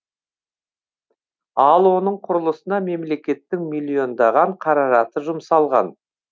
ал оның құрылысына мемлекеттің миллиондаған қаражаты жұмсалған